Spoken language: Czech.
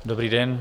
Dobrý den.